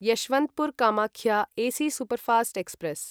Yesvantpur Kamakhya AC superfast express